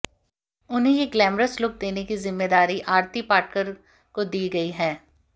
उन्हें यह glamorous look देने की जिम्मेदारी आरती पाटकर को दी गई है